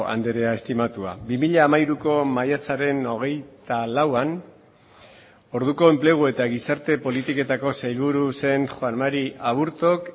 andrea estimatua bi mila hamairuko maiatzaren hogeita lauan orduko enplegu eta gizarte politiketako sailburu zen juan mari aburtok